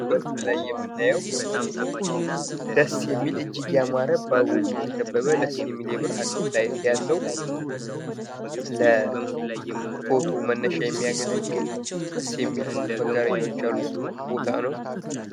በምስሉ ላይ የምታዩት በጣም ደስ የሚል ፣ እጅግ ያማረ ፣ በአበቦች የተከበበ ፣ የፎቶ መነሻ ቦታ ነው።